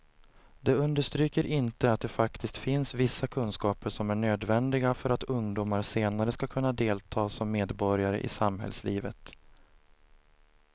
De understryker inte att det faktiskt finns vissa kunskaper som är nödvändiga för att ungdomar senare ska kunna delta som medborgare i samhällslivet.